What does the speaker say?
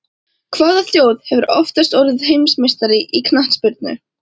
Hvaða þjóð hefur oftast orðið heimsmeistari í knattspyrnu?